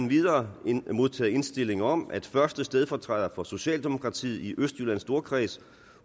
videre modtaget indstilling om at første stedfortræder for socialdemokratiet i østjyllands storkreds